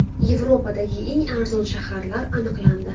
Yevropadagi eng arzon shaharlar aniqlandi.